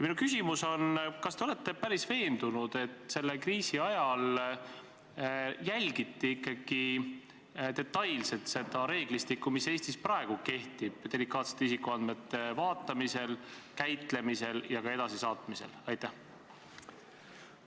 Minu küsimus on järgmine: kas te olete veendunud, et selle kriisi ajal jälgiti detailselt seda reeglistikku, mis Eestis praegu delikaatsete isikuandmete vaatamise, käitlemise ja edasisaatmise kohta kehtib?